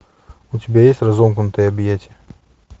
у тебя есть разомкнутые объятия